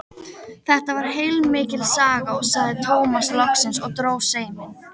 Þetta var heilmikil saga, sagði Tómas loksins og dró seiminn.